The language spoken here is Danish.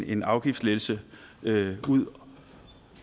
en afgiftslettelse ud